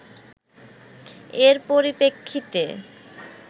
এর পরিপ্রেক্ষিতে